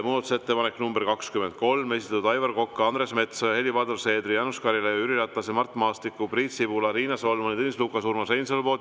Muudatusettepanek nr 23, esitanud Aivar Kokk, Andres Metsoja, Helir-Valdor Seeder, Jaanus Karilaid, Jüri Ratas, Mart Maastik, Priit Sibul, Riina Solman, Tõnis Lukas ja Urmas Reinsalu.